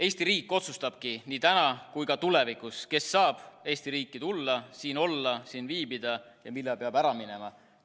Eesti riik otsustabki nii täna kui ka tulevikus, kes saab Eesti riiki tulla, siin olla, siin viibida ja millal peab ära minema.